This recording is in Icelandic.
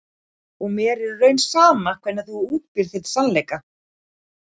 Og mér er í raun sama hvernig þú útbýrð þinn sannleika.